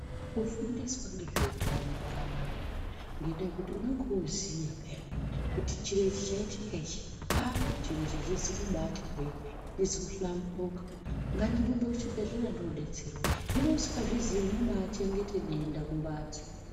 Kufundiswa nezvehutano kwakanaka ngenda yekuti unenge woziya piya kuti chiro ichi chaitika ichi ah chiro ichi achina kuti hwe achizi luhlamburika ngatirembe kuzvibhedhlera tione kudetserwa hino usingazvizivi unobachengeta denda kumbatso.